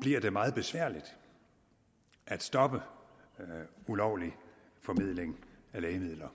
bliver det meget besværligt at stoppe ulovlig formidling af lægemidler